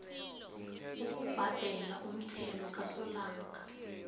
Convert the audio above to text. ukubhadela umthelo kasolanga